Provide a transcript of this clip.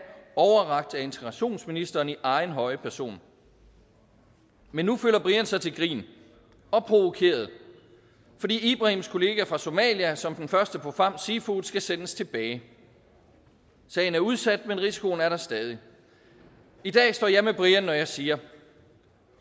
integrationsministeren i egen høje person men nu føler brian sig til grin og provokeret fordi ibrahims kollega fra somalia som den første på famm seafood skal sendes tilbage sagen er udsat men risikoen er der stadig i dag står jeg med brian når jeg siger